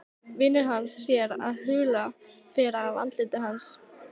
Vinur hans sér að hula fer af andliti hans.